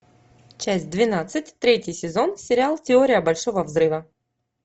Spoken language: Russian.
часть двенадцать третий сезон сериал теория большого взрыва